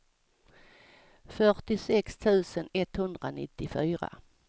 fyrtiosex tusen etthundranittiofyra